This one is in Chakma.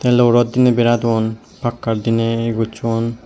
low rod diney beradon pakkar diney ye goscho.